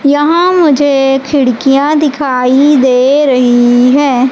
यहां मुझे खिड़कियां दिखाई दे रही है।